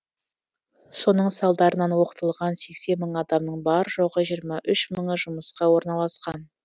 соның салдарынан оқытылған сексен мың адамның бар жоғы жиырма үш мыңы жұмысқа орналасқан